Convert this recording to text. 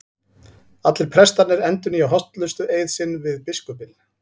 Allir prestarnir endurnýja hollustueið sinn við biskupinn.